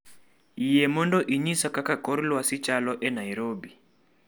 Yie mondo inyisa kaka kor lwasi chalo e Nairobi